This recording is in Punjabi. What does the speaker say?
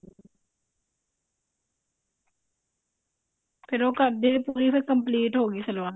ਫ਼ੇਰ ਉਹ ਕਰਦੇ ਪੂਰੀ ਤੇ complete ਹੋਗੀ ਸਲਵਾਰ